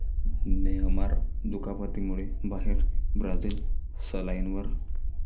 Neymar दुखापतीमुळे बाहेर, Brazil 'सलाईन'वर